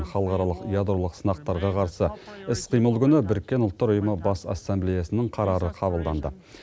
халықаралық ядролық сынақтарға қарсы іс қимыл күні біріккен ұлттар ұйымы бас ассамблеясының қарары қабылданды